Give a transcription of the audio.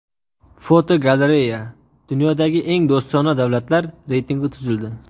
Fotogalereya: Dunyodagi eng do‘stona davlatlar reytingi tuzildi.